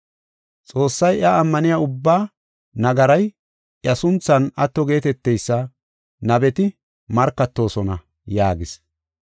Xoossay iya ammaniya ubbaa nagaray, iya sunthan atto geeteteysa nabeti markatoosona” yaagis.